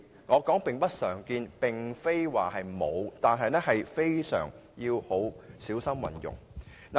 我是說並不常見，不是說沒有，而且是要極小心運用。